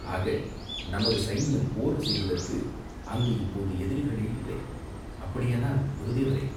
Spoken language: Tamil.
ஆக, நமது சைன்யம் போர் செய்வதற்கு அங்கு இப்போது எதிரிகளே இல்லை!" "அப்படியானால், குருதேவரே!